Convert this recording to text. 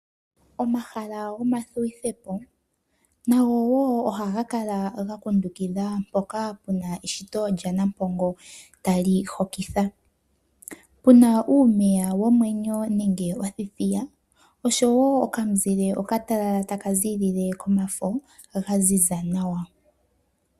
Omahala gomavululukilo nago wo ohaga kala ga kundukitha mpoka puna eshito lyanampongo tali hokitha. Puna uumeya womwenyo nenge othithiya oshowo okamuzile okatalala taka ziilile komafo gaziza nawa.